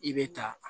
I bɛ ta